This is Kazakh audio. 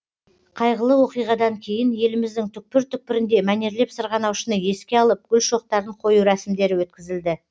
қайғылы оқиғадан кейін еліміздің түкпір түкпірінде мәнерлеп сырғанаушыны еске алып гүл шоқтарын қою рәсімдері өткізілді